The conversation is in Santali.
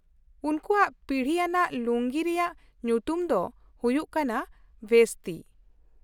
ᱩᱱᱠᱩᱣᱟᱜ ᱯᱤᱲᱦᱤ ᱟᱱᱟᱜ ᱞᱩᱝᱜᱤ ᱨᱮᱭᱟᱜ ᱧᱩᱛᱩᱢ ᱫᱚ ᱦᱩᱭᱩᱜ ᱠᱟᱱᱟ ᱵᱷᱮᱥᱛᱤ ᱾